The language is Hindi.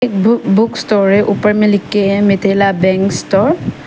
बुक बुक स्टोर है ऊपर में लिख के है मिथिला बैंक्स स्टोर ।